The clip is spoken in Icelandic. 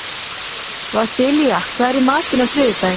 Vasilia, hvað er í matinn á þriðjudaginn?